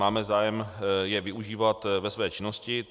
Máme zájem je využívat ve své činnosti.